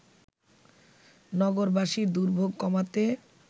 নগরবাসীর দুর্ভোগ কমাতে